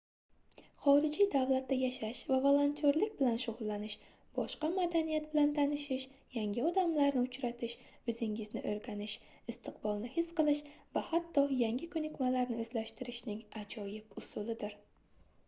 xorijiy davlatda yashash va volontyorlik bilan shugʻullanish boshqa madaniyat bilan tanishish yangi odamlarni uchratish oʻzingizni oʻrganish istiqbolni his qilish va hatto yangi koʻnikmalarni oʻzlashtirishning ajoyib usulidir